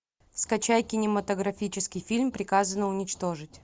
скачай кинематографический фильм приказано уничтожить